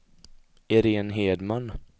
Iréne Hedman